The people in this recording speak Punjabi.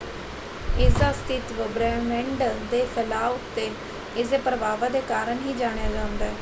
ਇਸਦਾ ਅਸਤਿਤਵ ਬ੍ਰਹਿਮੰਡ ਦੇ ਫੈਲਾਅ ਉੱਤੇ ਇਸਦੇ ਪ੍ਰਭਾਵਾਂ ਦੇ ਕਾਰਨ ਹੀ ਜਾਣਿਆ ਜਾਂਦਾ ਹੈ।